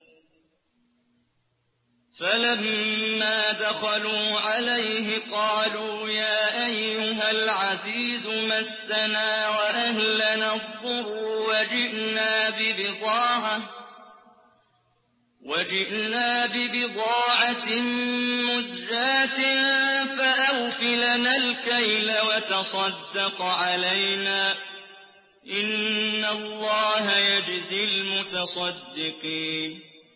فَلَمَّا دَخَلُوا عَلَيْهِ قَالُوا يَا أَيُّهَا الْعَزِيزُ مَسَّنَا وَأَهْلَنَا الضُّرُّ وَجِئْنَا بِبِضَاعَةٍ مُّزْجَاةٍ فَأَوْفِ لَنَا الْكَيْلَ وَتَصَدَّقْ عَلَيْنَا ۖ إِنَّ اللَّهَ يَجْزِي الْمُتَصَدِّقِينَ